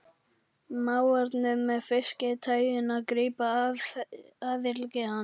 Mávarnir með fiski-tægjuna grípa athygli hans.